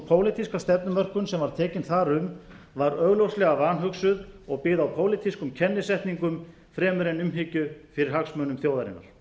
pólitíska stefnumörkun sem var tekin þar um var augljóslega vanhugsuð og byggð á pólitískum kennisetningum fremur en umhyggju fyrir hagsmunum þjóðarinnar